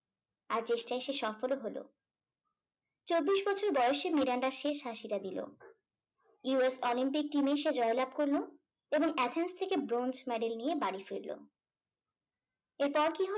আর চেষ্টায় সে সফলও হল। চব্বিশ বছর বয়সে মিরান্ডা শেষ হাসিটা দিল। USolympic team এ সে জয়লাভ করলো এবং এথেন্স থেকে bronze medal নিয়ে বাড়ি ফিরলো। এরপর কি হলো